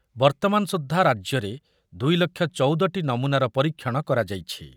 ବର୍ତ୍ତମାନ ସୁଦ୍ଧା ରାଜ୍ୟରେ ଦୁଇ ଲକ୍ଷ ଚଉଦ ଟି ନମୁନାର ପରୀକ୍ଷଣ କରାଯାଇଛି ।